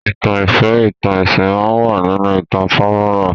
ìtàn ìfẹ́, ìtàn ẹsìn máa wà nínú ìtàn fọ́múlà